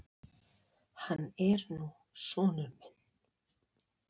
Hann er nú sonur minn.